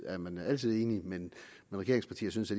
er man altid enig men regeringspartier synes